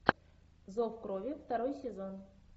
зов крови второй сезон